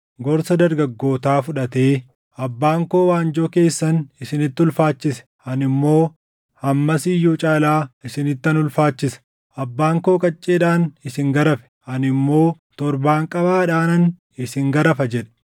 gorsa dargaggootaa fudhatee, “Abbaan koo waanjoo keessan isinitti ulfaachise; ani immoo hammas iyyuu caalaa isinittan ulfaachisa. Abbaan koo qacceedhaan isin garafe; ani immoo torbaanqabaadhaanan isin garafa” jedhe.